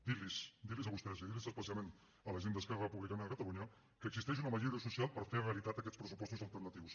dir los dir los a vostès i dir los especialment a la gent d’esquerra republicana de catalunya que existeix una majoria social per fer realitat aquests pressupostos alternatius